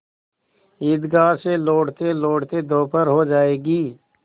ईदगाह से लौटतेलौटते दोपहर हो जाएगी